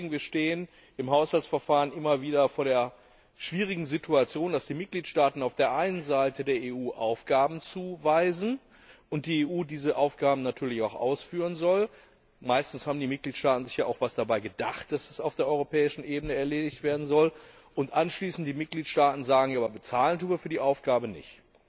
Wir stehen im Haushaltsverfahren immer wieder vor der schwierigen Situation, dass die Mitgliedstaaten auf der einen Seite der EU Aufgaben zuweisen und die EU diese Aufgaben natürlich auch ausführen soll meistens haben die Mitgliedstaaten sich ja auch etwas dabei gedacht, dass es auf der europäischen Ebene erledigt werden soll und anschließend die Mitgliedstaaten sagen Ja, aber bezahlen tun wir für die Aufgabe nicht.